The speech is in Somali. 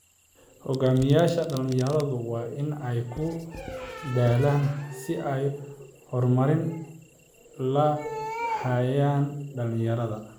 Hogaamiyayaasha dhalinyaradu waa in ay ku dadaalaan sidii ay u horumarin lahaayeen dhalinyarada.